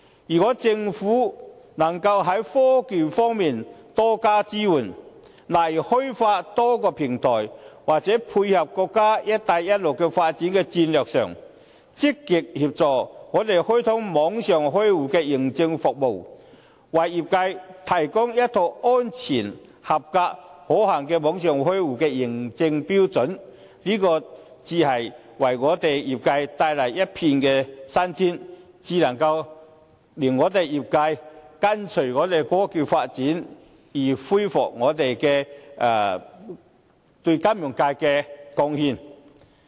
如果政府能夠在科技方面多加支援，例如開發多個平台，或在配合國家"一帶一路"的發展戰略上，積極協助我們開通網上開戶認證服務，為業界提供一套安全、合格和可行的網上開戶的認證標準，這才是為業界帶來一片新天，才可令業界跟隨香港科技發展而恢復對金融界的貢獻。